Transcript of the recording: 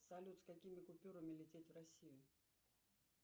салют с какими купюрами лететь в россию